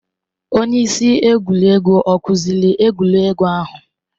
Onye isi egwuregwu ọ kụziri egwuregwu ahụ?